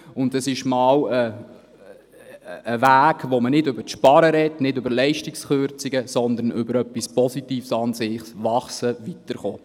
Es handelt sich um einen Weg, bei dem man nicht übers Sparen und über Leistungskürzungen spricht, sondern über etwas Positives, nämlich über das Wachsen und Weiterkommen.